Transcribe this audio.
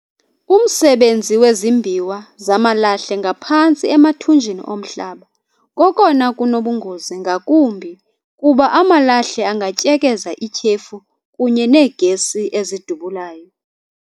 umsebenzi wezimbiwa zamalahle ngaphantsi emathunjini omhlaba kokona kunobungozi ngakumbi kuba amalahle angatyekeza ityhefu kunye neegesi ezidubulayo.